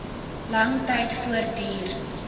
lang tyd voortduur